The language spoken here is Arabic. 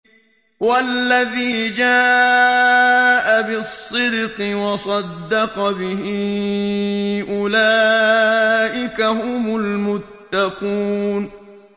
وَالَّذِي جَاءَ بِالصِّدْقِ وَصَدَّقَ بِهِ ۙ أُولَٰئِكَ هُمُ الْمُتَّقُونَ